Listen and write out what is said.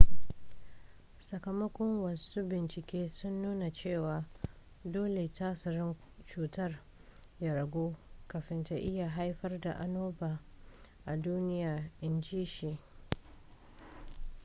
sakamakon wasu bincike sun nuna cewa dole tasirin cutar ya ragu kafin ta iya haifar da annoba a duniya in ji shi